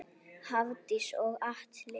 Hafdís og Atli.